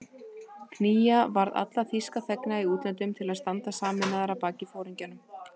Knýja varð alla þýska þegna í útlöndum til að standa sameinaðir að baki foringjanum